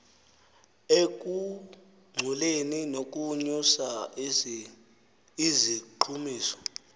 ekungcoleni nokunyusa iziqhumiso